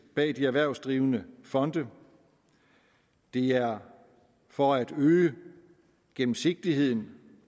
bag de erhvervsdrivende fonde det er for at øge gennemsigtigheden